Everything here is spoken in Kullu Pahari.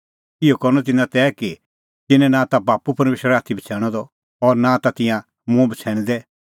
इहअ करनअ तिन्नां तै कि तिन्नैं नां ता बाप्पू परमेशर आथी बछ़ैणअ द और नां ता तिंयां मुंह बछ़ैणदै